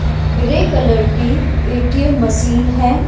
Grey colour की ATM machine है।